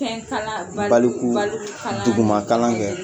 Baluku baluku kalan, Duguma kalan kɛ